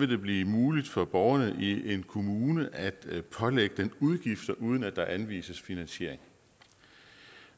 det blive muligt for borgerne i en kommune at pålægge udgifter uden at der anvises finansiering